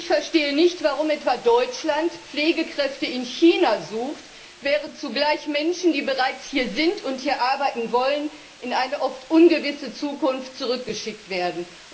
Ich verstehe nicht, warum etwa Deutschland Pflegekräfte in China sucht, während zugleich Menschen, die bereits hier sind und hier arbeiten wollen, in eine oft ungewisse Zukunft zurückgeschickt werden.